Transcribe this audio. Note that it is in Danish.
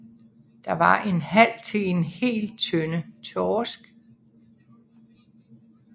Det var en halv til en hel tønde torsk